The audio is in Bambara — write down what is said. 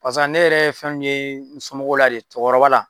Barisa ne yɛrɛ ye fɛn min ye n somɔgɔw la de cɛkɔrɔba la,